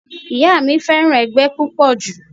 Ìyá mi fẹ́ràn ẹgbẹ́ púpọ̀ jù